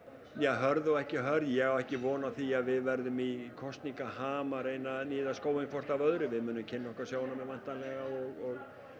hörð og ekki hörð ég á ekki von á því að við verðum í kosningaham að reyna að níða skóinn hvort af öðru við munum kynna okkar sjónarmið væntanlega og